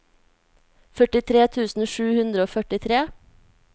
førtitre tusen sju hundre og førtitre